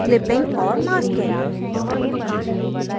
clipping और masking